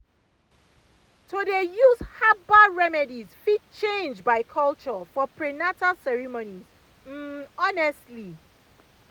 to dey use herbal remedies fit change by culture for prenatal ceremonies um honestly